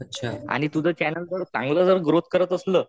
आणि तुझं चॅनल जर चांगलं जर ग्रोथ करत असल.